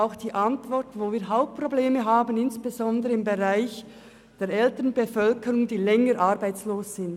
Auch die Antwort der Regierung zeigt, wo die Hauptprobleme liegen, insbesondere im Segment der älteren Bevölkerung mit mehr Langzeitarbeitslosen.